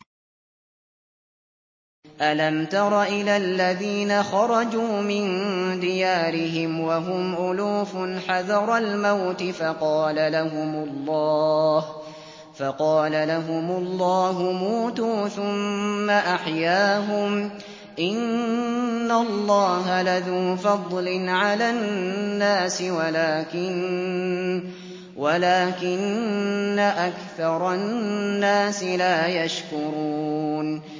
۞ أَلَمْ تَرَ إِلَى الَّذِينَ خَرَجُوا مِن دِيَارِهِمْ وَهُمْ أُلُوفٌ حَذَرَ الْمَوْتِ فَقَالَ لَهُمُ اللَّهُ مُوتُوا ثُمَّ أَحْيَاهُمْ ۚ إِنَّ اللَّهَ لَذُو فَضْلٍ عَلَى النَّاسِ وَلَٰكِنَّ أَكْثَرَ النَّاسِ لَا يَشْكُرُونَ